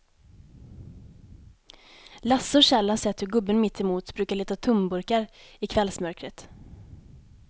Lasse och Kjell har sett hur gubben mittemot brukar leta tomburkar i kvällsmörkret.